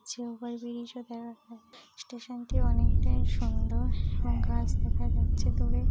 যে over bridge ও দেখা যাচ্ছে স্টেশনটি অনেকটাই সুন্দর এবং গাছ দেখা যাচ্ছে দূরে।